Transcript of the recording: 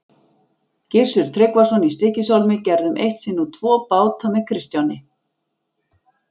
Gissur Tryggvason í Stykkishólmi gerðum eitt sinn út tvo báta með Kristjáni.